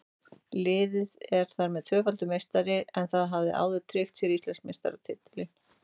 Liðið er þar með tvöfaldur meistari en það hafði áður tryggt sér Íslandsmeistaratitilinn.